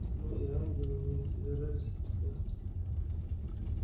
но и ангелы не собирались отпускать